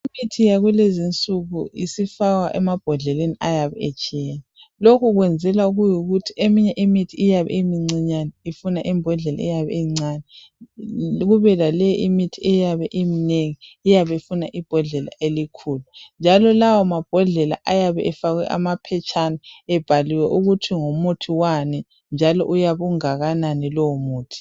Imithi yakulezinsuku isifakwa emabhodleni ayabe etshiyene, lokhu kwenzelwa ukuthi eminye imithi iyabe imncinyane ifuna imbodlela encane. Kube lale imithi eyabe imnengi iyabe ifuna ibhodlela elikhulu njalo lawo mabhodlela ayabe efakwe amaphetshana abhaliwe ukuthi ngumuthi wani njalo uyabe ungakanani lowo muthi.